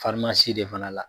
de fana la